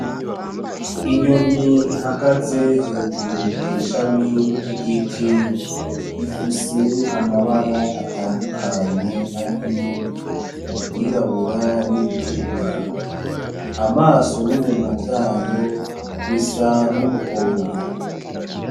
Inyoni ihagaze hejuru kw'ishami ry'igiti ifise amabara atadukanye ariyo iry'irabura niritukura, amaso n'umunwa vyayo bisa numuhondo.